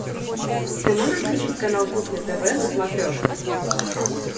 ты можешь включить канал кухня тв на смотрешке